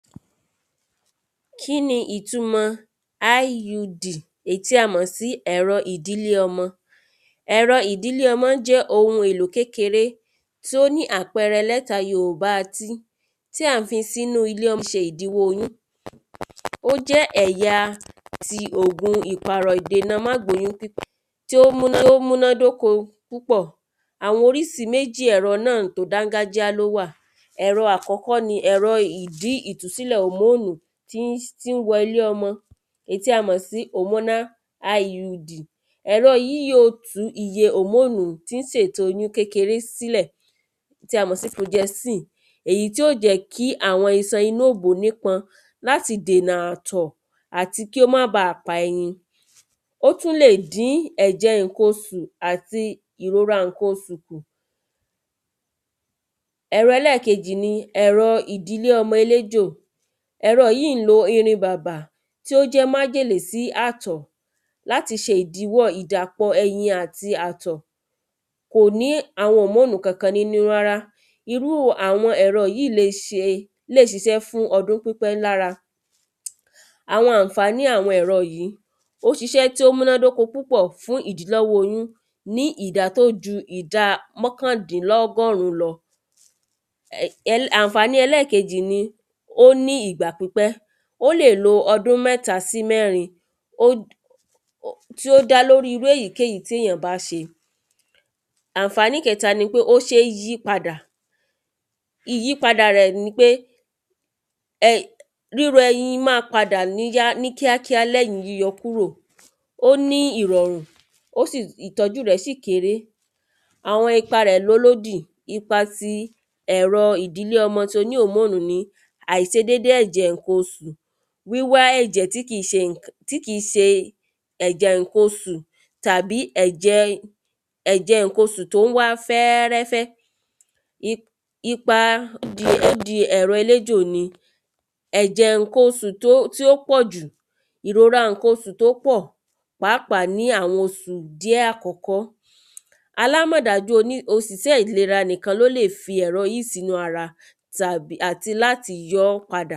kíni ìtumọ̀ áíyúdì èyí tí a mọ̀ sí ẹ̀rọ ìdílé ọmọ? ẹ̀rọ ìdílé ọmọ jẹ́ ohun èlò kékeré tó ní àpẹrẹ lẹ́tà yorùbá tí tí à ń fi sínú ilé ọmọ ṣe ìdíwọ́ oyún ó jẹ́ ẹ̀ya ti ògun ìpàrọ̀ ìdènà mágbóyún pé tí ó múná dóko púpọ̀ àwọn orísi méjì ẹ̀rọ náà tó dángájíá ló wà ẹ̀rọ àkọ́kọ́ ni ẹ̀rọ ìdí ìtúsílẹ̀ òmónù tín tín wọ ilé ọmọ èyí tí a mọ̀ sí òmóná áí yú dì ẹ̀rọ́ yíì yóò tú iye òmónú tín sètò oyún kékeré sílẹ̀ tí a mọ̀ sí projẹnsìn, èyí tí ò jẹ́ kí àwọn isan inú òbò ní pọn láti dènà àtọ̀ àti kí ó máa ba pa ẹyin ó tún lè dín ẹ̀jẹ̀ ǹkan osù àti ìrora ǹkan osù ẹ̀rọ ẹlẹ́kejì ni ẹ̀rọ ìdílé ọmọ eléjò ẹ̀rọ yíì ń lo irin bàbà tó jẹ́ májèlé fún àtọ̀ láti ṣe ìdíwọ́ ẹyin àti àtọ̀ kò ní àwọn òmónú kankan nínú rárá. irú àwọn ẹ̀rọ yíì lè ṣisẹ́ fún ọdún pípẹ́ lára àwọn àǹfàní àwọn ẹ̀rọ yìí ó ṣisẹ́ tí ó múná dóko púpọ̀ fún ìdilọ́wọ́ oyún ní ìdá tó ju ìdá mọ́kàndínlọ́gọ́rún lọ àǹfàni ẹlẹ́kejì ní ó ní ìgbà pípẹ́ ó lè lo ọdún mẹ́ta sí mẹ́rin ó tí ó dá lórí irú èyíkéyìí tíyàn bá ṣe àǹfànì kẹta ni pé ó ṣe ń yípadà ìyípadà ẹ̀ nipé ẹi bi rú ẹyin máa padà ní yá ní kíákíá lẹ́yìn yíyọ kúrò ó ní ìrọ̀rùn ó sì ìtọ́jú rẹ̀ sì kéré àwọn ipa rẹ̀ lólódì ipa ti ẹ̀rọ ìdínlé ọmọ toní òmónú ni àìsedédé ẹ̀jẹ̀ ǹkan osù wíwá ẹ̀jẹ̀ tí kìn ṣe ǹkan tí kìn ṣe ẹ̀jẹ̀ ǹkan osù tàbí ẹ̀jẹ̀ ẹ̀jẹ̀ ǹkan osù tó ń wá fẹ́rẹ́fẹ́ ipa ipa di ẹ́ dí ẹ̀rọ eléjò ni ẹ̀jẹ̀ ǹkan osù tó tí ó pọ̀ jù, ìrora ǹkan osù tó pọ̀ pàápàá ní àwọn osù dí ẹ̀ àkọ́kọ́ alámọ̀dájú oní òsìsẹ́ ìlera nìkan ló lè fi ẹ̀rọ yìí sínú ara tàbí àti láti yọ́ọ́ padà